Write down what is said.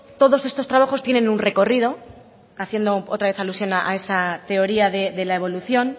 todos estos trabajos tienen un recorrido haciendo otra vez alusión a esa teoría de la evolución